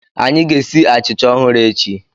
Anyị ga-esi achịcha ọhụrụ echi.